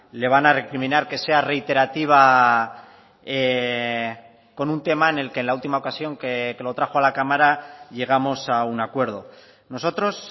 le van a recriminar que sea reiterativa con un tema en el que en la última ocasión que lo trajo a la cámara llegamos a un acuerdo nosotros